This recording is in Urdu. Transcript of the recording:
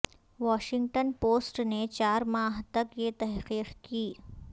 واشنگٹن پوسٹ نے چار ماہ تک یہ تحقیق کی